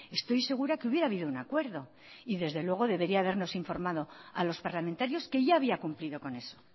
estoy segura que hubiera habido un acuerdo y desde luego debería habernos informado a los parlamentarios que ya había cumplido con eso